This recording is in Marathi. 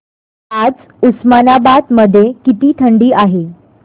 आज उस्मानाबाद मध्ये किती थंडी आहे